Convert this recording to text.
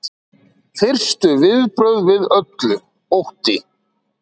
Fyrstu viðbrögð við öllu: Ótti.